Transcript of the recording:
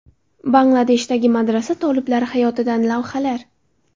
Bangladeshdagi madrasa toliblari hayotidan lavhalar .